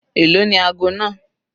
Èló ni ago náà?